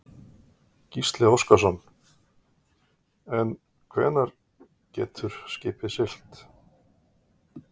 Gísli Óskarsson: En hvenær getur skipið siglt?